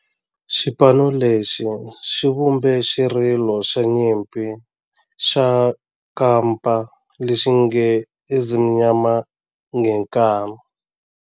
Xipano lexi xi vumbe xirilo xa nyimpi xa kampa lexi nge 'Ezimnyama Ngenkani'.